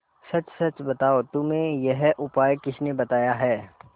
सच सच बताओ तुम्हें यह उपाय किसने बताया है